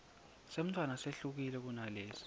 semntfwana sehlukile kunalesi